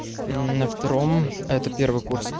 на втором а это первый курс